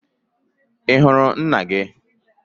I hụrụ nna gị?